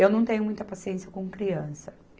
Eu não tenho muita paciência com criança.